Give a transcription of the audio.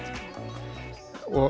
og